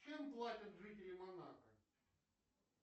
чем платят жители монако